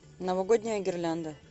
новогодняя гирлянда